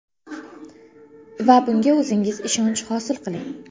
Va bunga o‘zingiz ishonch hosil qiling!